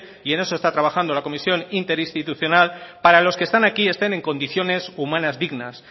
y en eso está trabajando la comisión interinstitucional para los que están aquí estén en condiciones humanas dignas